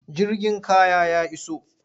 Jirgin kaya ya iso.